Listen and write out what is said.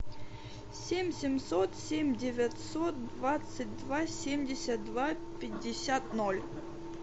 семь семьсот семь девятьсот двадцать два семьдесят два пятьдесят ноль